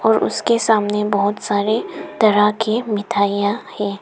और उसके सामने बहुत सारे तरह के मिठाइयां है।